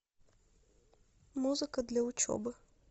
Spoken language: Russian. музыка для учебы